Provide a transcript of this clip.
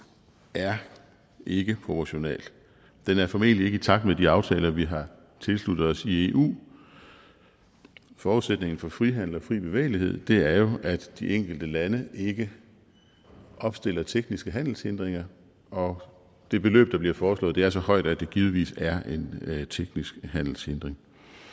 er ikke proportionalt det er formentlig ikke i takt med de aftaler vi har tilsluttet os eu forudsætningen for frihandel og fri bevægelighed er jo at de enkelte lande ikke opstiller tekniske handelshindringer og det beløb der bliver foreslået er så højt at det givetvis er en teknisk handelshindring